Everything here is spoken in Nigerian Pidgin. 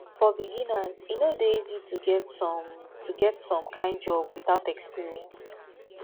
for beginners e no de easy to get some to get some kind job without experience